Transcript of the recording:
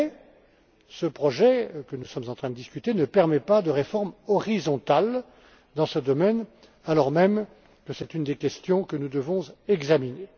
Mais ce projet, que nous sommes en train de discuter, ne permet pas de réforme horizontale dans ce domaine, alors même que c'est une des questions que nous devons examiner.